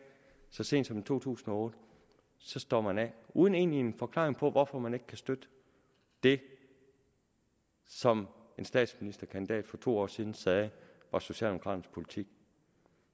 så sent som i to tusind og otte så står man af uden egentlig en forklaring på hvorfor man ikke kan støtte det som en statsministerkandidat for to år siden sagde var socialdemokraternes politik